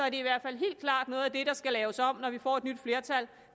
i hvert fald helt klart noget af det der skal laves om når vi får et nyt flertal